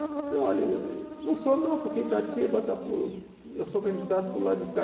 Ele falou, olha, eu não sou não, porque Itatiba, está para o, eu sou candidato para o lado de cá.